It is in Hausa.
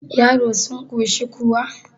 yaro sun koshi kuwa